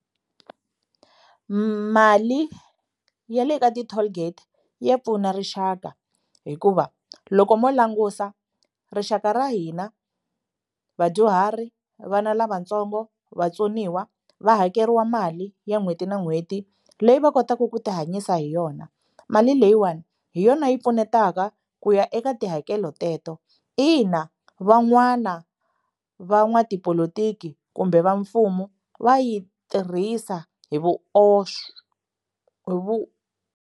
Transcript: Mali ya le ka ti-tollgate ya pfuna rixaka hikuva loko mo langusa rixaka ra hina vadyuhari vana lavatsongo vatsoniwa va hakeriwa mali ya n'hweti na n'hweti leyi va kotaka ku ti hanyisa hi yona mali leyiwani hi yona yi pfunetaka ku ya eka tihakelo teto ina van'wana va n'watipolotiki kumbe va mfumo va yi tirhisa hi vuoswi hi .